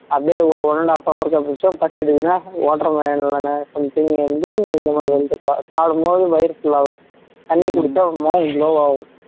அப்படியே ஒரு one and half hour க்கு கழிச்சு பசி எடுக்குதுன்னா water melon இல்லைனா something வந்து இந்த மாதிரி வந்து சாப்பிடும்போது வயிறு full ஆகும் தண்ணி குடிச்சா ஒருமாறி glow ஆகும்